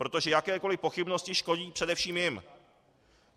Protože jakékoli pochybnosti škodí především jim.